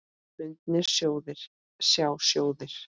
Bundnir sjóðir, sjá sjóðir